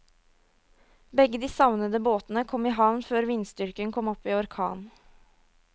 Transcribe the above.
Begge de savnede båtene kom i havn før vindstyrken kom opp i orkan.